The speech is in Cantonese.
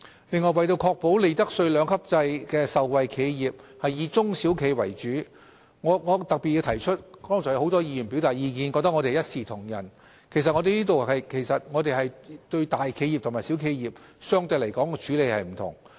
另外，為確保利得稅兩級制的受惠企業以中小企為主，我特別要提出，雖然剛才有許多議員表示覺得我們一視同仁，但其實我們對大企業和小企業有相對不同的處理方式。